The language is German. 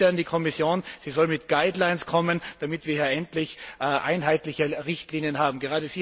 Darum die Bitte an die Kommission Sie soll mit Leitlinien kommen, damit wir hier endlich einheitliche Richtlinien haben.